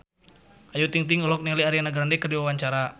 Ayu Ting-ting olohok ningali Ariana Grande keur diwawancara